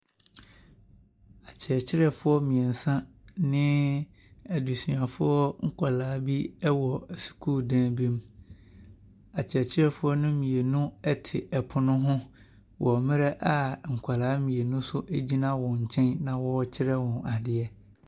Akyerɛkyerɛfoɔ mmeɛnsa ne adesuafoɔ nkwadaa bi wɔ sukuudan bi mu. Akyerɛkyerɛfoɔ no mu mmienu te poono ho wɔ mmerɛ a nkwadaa mmienu nso gyina wɔn nkyɛn na wɔrekyerɛ wɔn adeɛ.